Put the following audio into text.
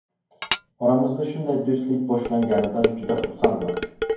Oramizda shunday do‘stlik boshlanganidan juda xursandman”.